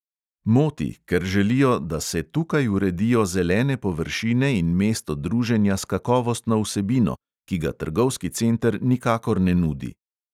Moti, ker želijo, "da se tukaj uredijo zelene površine in mesto druženja s kakovostno vsebino, ki ga trgovski center nikakor ne nudi".